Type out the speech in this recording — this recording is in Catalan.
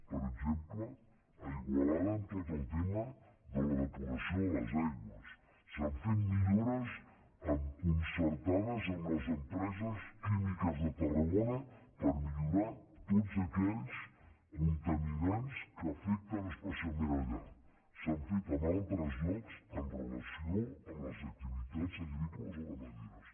per exemple a igualada en tot el tema de la depuració de les aigües s’han fet millores concertades amb les empreses químiques de tarragona per millorar tots aquells contaminants que afecten espe cialment allà s’han fet en altres llocs amb relació a les activitats agrícoles o ramaderes